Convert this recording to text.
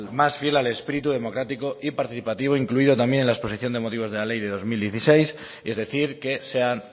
más fiel al espíritu democrático y participativo incluido también en la exposición de motivos de la ley de dos mil dieciséis es decir que sean